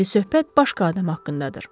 İndi söhbət başqa adam haqqındadır.